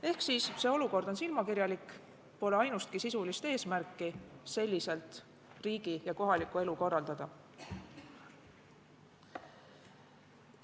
Ehk see olukord on silmakirjalik ja pole ainustki sisulist eesmärki selliselt riigi ja kohalikku elu korraldada.